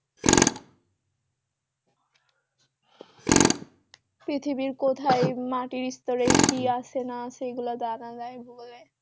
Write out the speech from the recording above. পৃথিবীর কোথায় মাটির স্তরে কি আছে না আছে এগুলো জানা যায় ভূগোলে